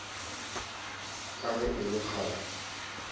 ka ge e le kgale